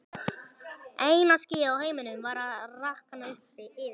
Eina skýið á himninum var að rakna upp yfir